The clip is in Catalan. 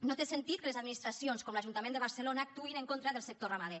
no té sentit que les administracions com l’ajuntament de barcelona actuïn en contra del sector ramader